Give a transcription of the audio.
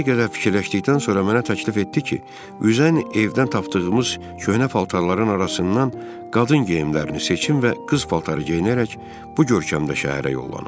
Cim bir qədər fikirləşdikdən sonra mənə təklif etdi ki, üzən evdən tapdığımız köhnə paltarların arasından qadın geyimlərini seçim və qız paltarı geyinərək bu görkəmdə şəhərə yollanım.